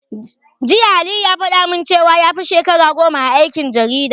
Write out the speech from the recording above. Jiya Aliyu ya faɗa min cewa yafi shekara goma a aikin jarida.